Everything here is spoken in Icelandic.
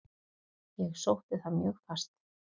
Ég sótti það mjög fast.